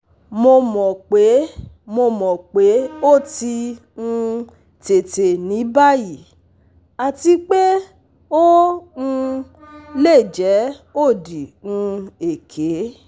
Mo mọ pe mọ pe o ti um tete ni bayi ati pe o um le jẹ odi um eke